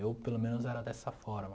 Eu, pelo menos, era dessa forma.